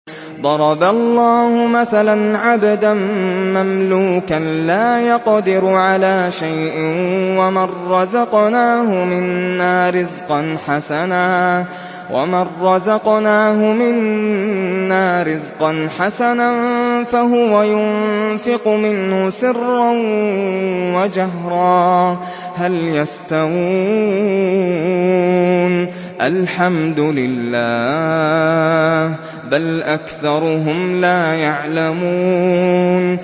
۞ ضَرَبَ اللَّهُ مَثَلًا عَبْدًا مَّمْلُوكًا لَّا يَقْدِرُ عَلَىٰ شَيْءٍ وَمَن رَّزَقْنَاهُ مِنَّا رِزْقًا حَسَنًا فَهُوَ يُنفِقُ مِنْهُ سِرًّا وَجَهْرًا ۖ هَلْ يَسْتَوُونَ ۚ الْحَمْدُ لِلَّهِ ۚ بَلْ أَكْثَرُهُمْ لَا يَعْلَمُونَ